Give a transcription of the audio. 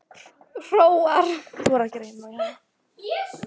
Hróar